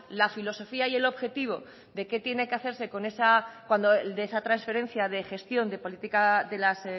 la filosofía y el objetivo de qué tiene que hacerse con esa transferencia de gestión de políticas